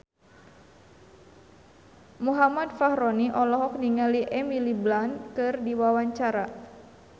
Muhammad Fachroni olohok ningali Emily Blunt keur diwawancara